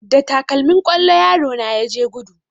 Da takalmin kwallo yaro na ya je gudu